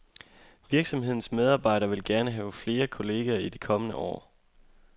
Virksomhedens medarbejdere vil gerne have flere kolleger i de kommende år.